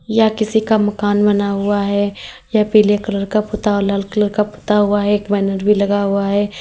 यह किसी का मकान बना हुआ है यह पीले कलर का पुता हुआ लाल कलर का पुता हुआ है एक बैनर भी लगा हुआ है।